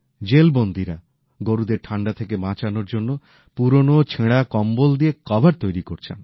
jail বন্দীরা গরুদের ঠান্ডা থেকে বাঁচানোর জন্য পুরনো ছেঁড়া কম্বল দিয়ে কভার তৈরি করছেন